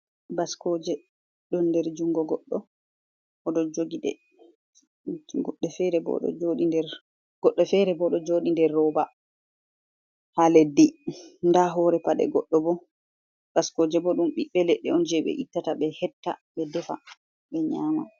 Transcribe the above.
baskoje, don der jungo goddo odo jogi de, goɗde fere bo do jodi nder roba ha leddi ,da hore pade goddo bo .Baskoje bo dum biɓbe ledde on je be ittata be hetta ,be defa be nyama.